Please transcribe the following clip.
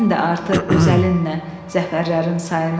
Sən də artır öz əlinlə zəfərlərin sayını.